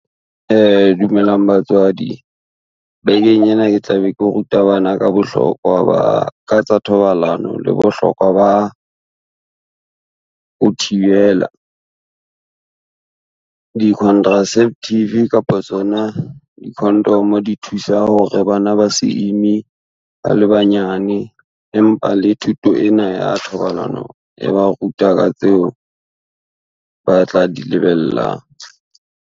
Dumelang batswadi, bekeng ena ke tla be ke ruta bana ka tsa thobalano le bohlokwa ba, ho thibela. Di-contraceptive kapa tsona di-condom di thusa hore bana ba se ime, ba le banyane empa le thuto ena ya thobalano e ba ruta ka tseo, ba tla di lebellang.